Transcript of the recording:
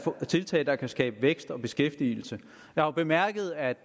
tiltag der kan skabe vækst og beskæftigelse jeg har bemærket at